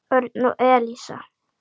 Örn og Elísa.